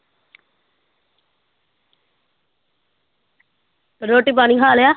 ਰੋਟੀ ਪਾਣੀ ਖਾ ਲਿਆ?